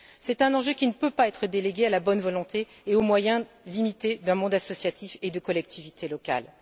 C'est un enjeu qui ne peut pas être délégué à la bonne volonté et aux moyens limités du monde associatif et des collectivités locales.